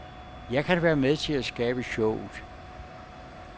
Jeg kan være med til at skabe showet.